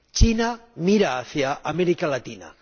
China mira hacia América Latina.